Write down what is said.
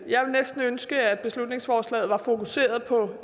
jeg ville næsten ønske at beslutningsforslaget var fokuseret på